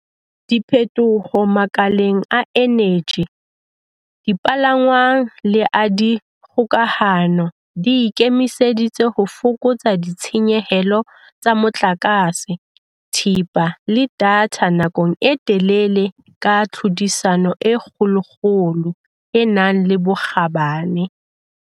Diphethoho makaleng a eneji, dipalangwang le a dikgokahano di ikemiseditse ho fokotsa ditshenyehelo tsa motlakase, thepa le datha nakong e telele ka tlhodisano e kgolokgolo e nang le bokgabane.